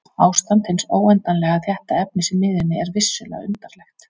Ástand hins óendanlega þétta efnis í miðjunni er vissulega undarlegt.